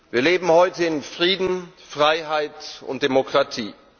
Wir leben heute in Frieden, Freiheit und Demokratie.